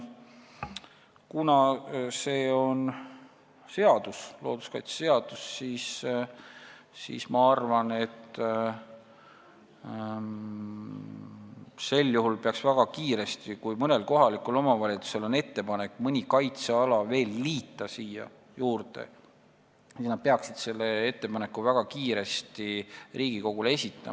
Kuna meil on tegu seadusega, looduskaitseseadusega, siis ma arvan, et kui mõnel kohalikul omavalitsusel on ettepanek siia veel mõni kaitseala juurde liita, siis nad peaksid selle ettepaneku väga kiiresti Riigikogule esitama.